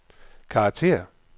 karakter